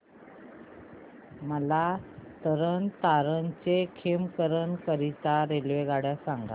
मला तरण तारण ते खेमकरन करीता रेल्वेगाड्या सांगा